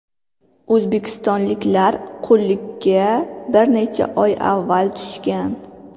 O‘zbekistonliklar qullikka bir necha oy avval tushgan.